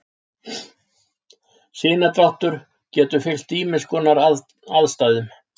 Sinadráttur getur fylgt ýmiss konar aðstæðum.